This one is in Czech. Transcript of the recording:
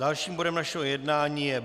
Dalším bodem našeho jednání je